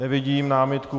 Nevidím námitku.